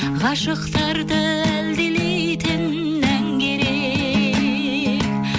ғашықтарды әлдилейтін ән керек